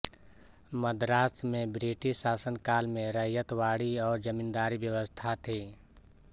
मद्रास में ब्रिटिश शासनकाल में रैयतवाड़ी और जमींदारी व्यवस्था थी